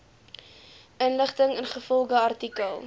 inligting ingevolge artikel